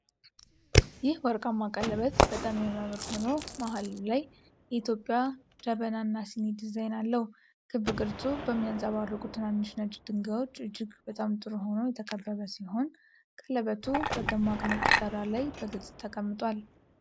ይህ ወርቃማ ቀለበት በጣም የሚያምር ሆኖ መሃሉ ላይ የኢትዮጵያ ጀበና እና ሲኒ ዲዛይን አለው። ክብ ቅርጹ በሚያንጸባርቁ ትናንሽ ነጭ ድንጋዮች እጅግ በጣም ጥሩ ሆኖ የተከበበ ሲሆን፣ ቀለበቱ በደማቅ ነጭ ዳራ ላይ በግልጽ ተቀምጧል።